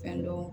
Fɛn dɔ